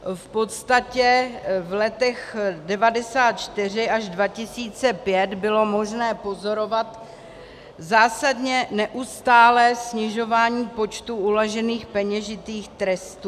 V podstatě v letech 1994 až 2005 bylo možné pozorovat zásadně neustálé snižování počtu uložených peněžitých trestů.